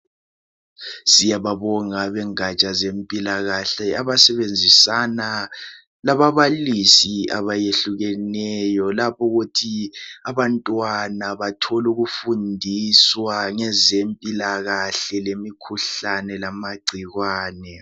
Siyababonga abengatsha ngezempilakahle abasebenzisana lababalisi abayehlukeneyo lapha ukuthi abantwana bathole ukufundiswa ngezempilakahle lemikhuhlane lamagcikwane.